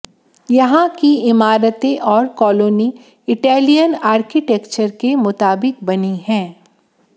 यहां की इमारतें और कॉलोनी इटेलियन आर्किटेक्चर के मुताबिक बनी हैं